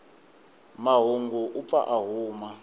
mahungu u pfa a huma